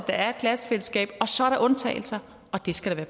der er et klassefællesskab og så er der undtagelser og det skal der